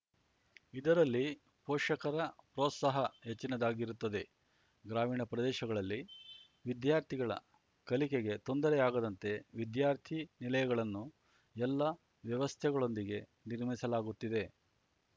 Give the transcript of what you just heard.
ಇದರಲ್ಲಿ ಪೋಷಕರ ಪ್ರೋತ್ಸಾಹ ಹೆಚ್ಚಿನದಾಗಿರುತ್ತದೆ ಗ್ರಾಮೀಣ ಪ್ರದೇಶಗಳಲ್ಲಿ ವಿದ್ಯಾರ್ಥಿಗಳ ಕಲಿಕೆಗೆ ತೊಂದರೆ ಆಗದಂತೆ ವಿದ್ಯಾರ್ಥಿ ನಿಲಯಗಳನ್ನು ಎಲ್ಲ ವ್ಯವಸ್ಥೆಗಳೊಂದಿಗೆ ನಿರ್ಮಿಸಲಾಗುತ್ತಿದೆ